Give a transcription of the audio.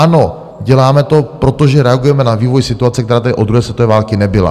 Ano, děláme to, protože reagujeme na vývoj situace, která tady od druhé světové války nebyla.